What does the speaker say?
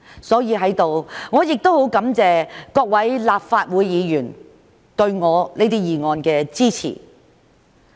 所以，在此，我很感謝各位立法會議員對我這些議案的支持。